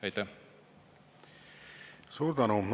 Suur tänu!